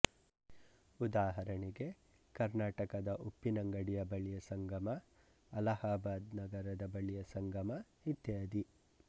ಉದಾಹರಣೆಗೆ ಕರ್ನಾಟಕದ ಉಪ್ಪಿನಂಗಡಿಯ ಬಳಿಯ ಸಂಗಮ ಅಲಹಾಬಾದ್ ನಗರದ ಬಳಿಯ ಸಂಗಮ ಇತ್ಯಾದಿ